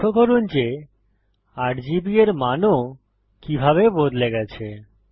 লক্ষ্য করুন যে RGB এর মান ও কিভাবে বদলে গেছে